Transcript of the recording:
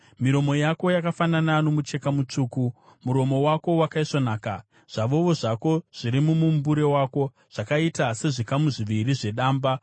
Miromo yako yakafanana nomucheka mutsvuku; muromo wako wakaisvonaka. Zvavovo zvako zviri mumumbure wako zvakaita sezvikamu zviviri zvedamba.